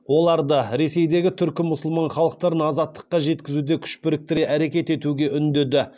оларды ресейдегі түркі мұсылман халықтарын азаттыққа жеткізуде күш біріктіре әрекет етуге үндеді